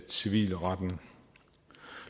civilretten